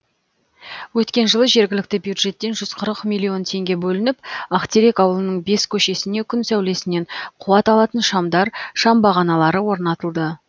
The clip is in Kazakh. өткен жылы жергілікті бюджеттен жүз қырық миллион теңге бөлініп ақтерек ауылының бес көшесіне күн сәулесінен қуат алатын шамдар шам бағаналары орнатылды